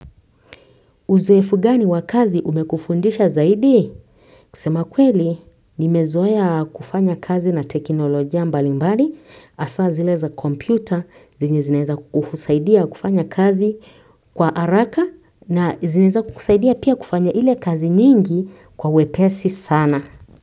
Uzoefu gani wa kazi umekufundisha zaidi? Kusema kweli, nimezoea kufanya kazi na teknolojia mbali mbali, hasa zile za kompyuta, zenye zinaeza kukusaidia kufanya kazi kwa haraka na zinaeza kukusaidia pia kufanya ile kazi nyingi kwa wepesi sana.